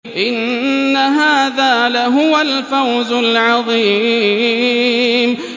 إِنَّ هَٰذَا لَهُوَ الْفَوْزُ الْعَظِيمُ